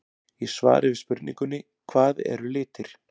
Í svari við spurningunni Hvað eru litir?